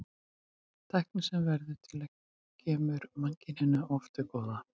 Tæknin sem verður til kemur mannkyninu oft til góða.